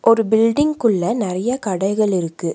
ஒரு பில்டிங் குள்ள நெறைய கடைகள் இருக்கு.